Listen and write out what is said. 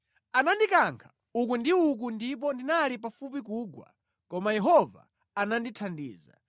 Anandikankha uku ndi uko ndipo ndinali pafupi kugwa, koma Yehova anandithandiza.